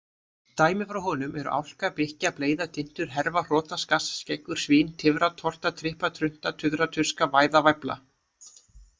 Dæmi frá honum eru:-álka,-bikkja,-bleyða,-dyntur,-herfa,-hrota,-skass,-skeggur,-svín,-tifra,-torta,-trippa,-trunta,-tuðra,-tuska,-væða,-væfla.